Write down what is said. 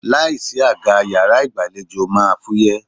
Láìsí àga yàrá ìgbàlejò máa fúyẹ́.